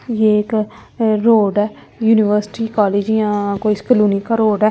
ये एक रोड है यूनिवर्सिटी कॉलेज या कोई कॉलोनी का रोड है।